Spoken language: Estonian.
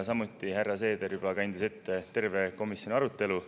Samuti kandis härra Seeder ette juba terve komisjoni arutelu.